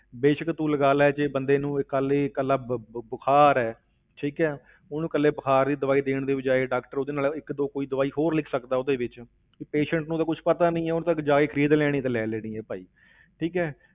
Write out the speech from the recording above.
ਬੇਸ਼ਕ ਤੂੰ ਲਗਾ ਲੈ ਜੇ ਬੰਦਾ ਨੂੰ ਇਹ ਕੱਲ੍ਹ ਹੀ ਇਕੱਲਾ ਬੁ~ ਬੁਖਾਰ ਹੈ, ਠੀਕ ਹੈ, ਉਹਨੂੰ ਇਕੱਲੇ ਬੁਖਾਰ ਦੀ ਦਵਾਈ ਦੇਣ ਦੀ ਬਜਾਏ doctor ਉਹਦੇ ਨਾਲ ਇੱਕ ਦੋ ਕੋਈ ਦਵਾਈ ਹੋਰ ਲਿਖ ਸਕਦਾ ਉਹਦੇ ਵਿੱਚ, ਵੀ patient ਨੂੰ ਤਾਂ ਕੁਛ ਪਤਾ ਨੀ ਹੈ, ਉਹਨੇ ਤਾਂ ਜਾ ਕੇ ਖ਼ਰੀਦ ਲੈਣੀ ਤੇ ਲੈ ਲੈਣੀ ਹੈ ਭਾਈ ਠੀਕ ਹੈ।